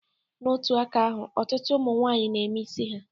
N'otu aka ahụ, ọtụtụ ụmụ nwaanyị na-eme isi ha